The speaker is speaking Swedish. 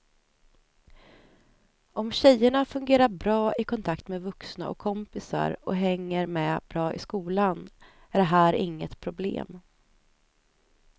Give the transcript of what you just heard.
Om tjejerna fungerar bra i kontakt med vuxna och kompisar och hänger med bra i skolan är det här inget problem.